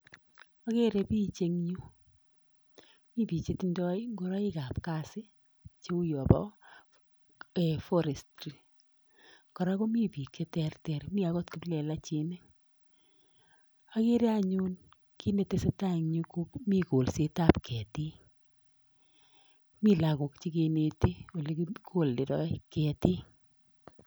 Akere piich eng yu, mi piich che tindoi ngoroikab kazi cheu yo bo um forestry, kora komi piik che terter, mi akot kiplelachinik, akere anyun kiit ne tesetai eng yu ko mi kolsetab ketik, mi lagok che keneti ole kikolderoi ketik.